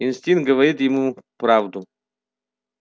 инстинкт говорит ему правду